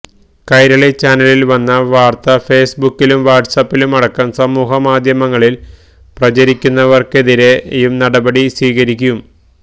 കൈരളി ചാനലിൽ വന്ന വാർത്ത ഫേസ്ബുക്കിലും വാട്സ്ആപ്പിലും അടക്കം സമൂഹമാധ്യമങ്ങളിൽ പ്രചരിപ്പിക്കുന്നവർക്കെതിരെയും നിയമ നടപടി സ്വീകരിക്കും